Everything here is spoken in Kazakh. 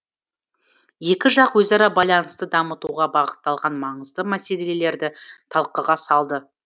екі жақ өзара байланысты дамытуға бағытталған маңызды мәселелерді талқыға салды